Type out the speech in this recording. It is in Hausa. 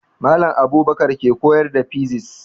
Mallam Abubakar ke koyar da fisis